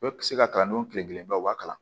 O tɛ se ka kalan n'o tile kelen ba o b'a kalan